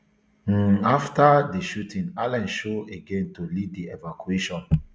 um afta di shooting allans show again to lead di evacuation